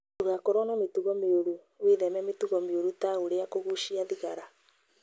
Ndũgakorwo na mĩtugo mĩũru: Wĩtheme mĩtugo mĩũru ta ũrĩa kũgucia thigara,